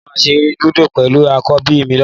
Mo máa ṣeré lúdò pẹ̀lú àkọ́bí mi lọ́la